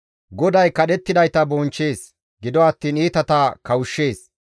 GODAY kadhettidayta bonchchees; gido attiin iitata kawushshees.